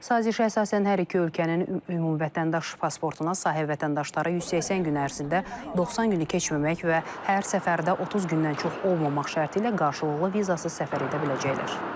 Sazişə əsasən hər iki ölkənin ümumi vətəndaş pasportuna sahib vətəndaşlar 180 gün ərzində 90 günü keçməmək və hər səfərdə 30 gündən çox olmamaq şərti ilə qarşılıqlı vizasız səfər edə biləcəklər.